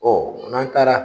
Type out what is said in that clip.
Ɔ mɔn taara